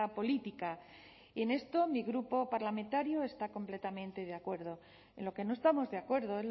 política y en esto mi grupo parlamentario está completamente de acuerdo en lo que no estamos de acuerdo